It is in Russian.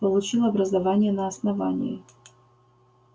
получил образование на основании